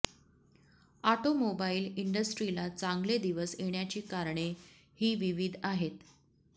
auto mobile इंडस्ट्रीला चांगले दिवस येण्याची कारणे ही विविध आहेत